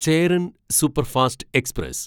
Cheran superfast express